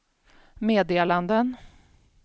meddelanden